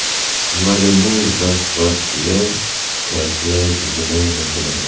Malibu va Spark’ga CarPlay tizimi o‘rnatiladi.